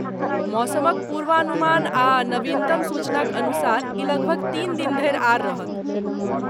मौसमक पूर्वानुमान आ नवीनतम सूचनाक अनुसार ई लगभग तीन दिन धरि आर रहत।